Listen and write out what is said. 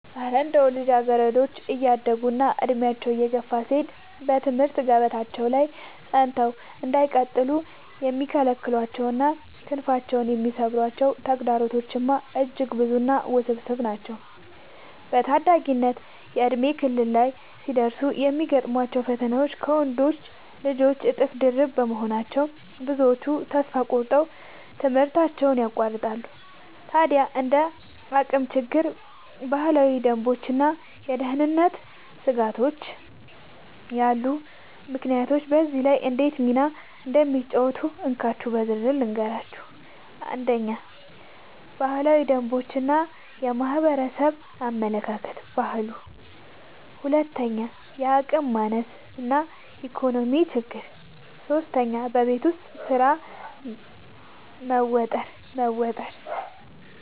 እረ እንደው ልጃገረዶች እያደጉና ዕድሜያቸው እየገፋ ሲሄድ በትምህርት ገበታቸው ላይ ጸንተው እንዳይቀጥሉ የሚከለክሏቸውና ክንፋቸውን የሚሰብሯቸው ተግዳሮቶችማ እጅግ ብዙና ውስብስብ ናቸው! በታዳጊነት የእድሜ ክልል ላይ ሲደርሱ የሚገጥሟቸው ፈተናዎች ከወንዶች ልጆች እጥፍ ድርብ በመሆናቸው፣ ብዙዎቹ ተስፋ ቆርጠው ትምህርታቸውን ያቋርጣሉ። ታዲያ እንደ የአቅም ችግር፣ ባህላዊ ደንቦችና የደህንነት ስጋቶች ያሉ ምክንያቶች በዚህ ላይ እንዴት ሚና እንደሚጫወቱ እንካችሁ በዝርዝር ልንገራችሁ፦ 1. ባህላዊ ደንቦች እና የማህበረሰብ አመለካከት (ባህሉ) 2. የአቅም ማነስ እና የኢኮኖሚ ችግር 3. በቤት ውስጥ ስራ መወጠር መወጠር